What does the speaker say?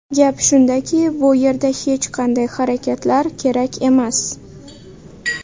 Gap shundaki, bu yerda hech qanday harakatlar kerak emas.